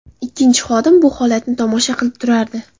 Ikkinchi xodim bu holatni tomosha qilib turardi.